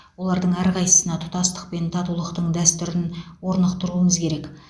олардың әрқайсысына тұтастық пен татулықтың дәстүрін орнықтыруымыз керек